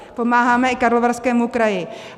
Pomáháme i Karlovarskému kraji.